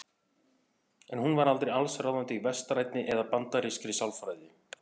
En hún var aldrei allsráðandi í vestrænni eða bandarískri sálfræði.